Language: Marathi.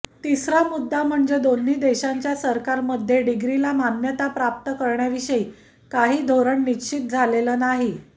तिसरा मुद्दा म्हणजे दोन्ही देशांच्या सरकारमध्ये डिग्रीला मान्यता प्राप्त करण्याविषयी काही धोरण निश्चित झालेलं नाही